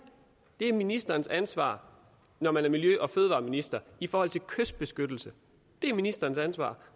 det er ministerens ansvar når man er miljø og fødevareminister i forhold til kystbeskyttelse det er ministerens ansvar